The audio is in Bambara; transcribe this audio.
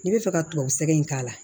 N'i bɛ fɛ ka tubabu sɛgɛn in k'a la